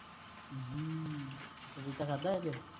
ਪਪੀਤਾ ਖਾਂਦਾ ਅੱਜ